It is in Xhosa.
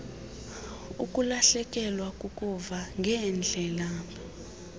ukulahlekelwa kukuva ngeendlebe